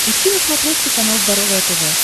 ищи на смотрешке канал здоровое тв